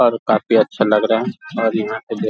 और काफी अच्छे लग रहे हैं और यहाँ पे दे --